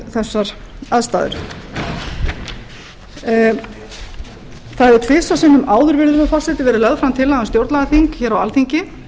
þessar aðstæður það hefur tvisvar sinnum áður virðulegur forseti verið lögð fram tillaga um stjórnlagaþing hér á alþingi